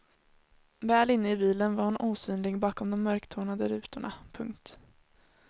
Väl inne i bilen var hon osynlig bakom de mörktonade rutorna. punkt